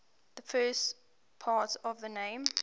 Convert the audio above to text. the first part of the name